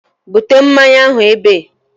Bute mmanya ahụ ebe!